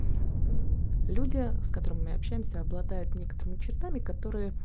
люди с которыми общаемся обладают некоторыми чертами кота